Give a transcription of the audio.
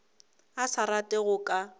a sa rate go ka